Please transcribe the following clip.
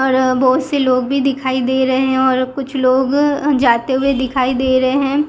बहुत से लोग भी दिखाई दे रहे हैं और कुछ लोग जाते हुए दिखाई दे रहे हैं।